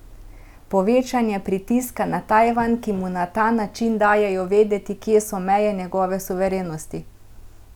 Povečanje pritiska na Tajvan, ki mu na ta način dajejo vedeti, kje so meje njegove suverenosti?